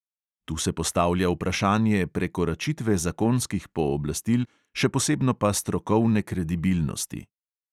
Tu se postavlja vprašanje prekoračitve zakonskih pooblastil, še posebno pa strokovne kredibilnosti.